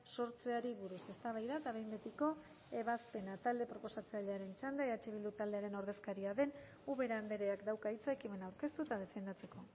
sortzeari buruz eztabaida eta behin betiko ebazpena talde proposatzailearen txanda eh bildu taldearen ordezkaria den ubera andreak dauka hitza ekimena aurkeztu eta defendatzeko